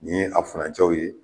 Ni ye a furancɛw ye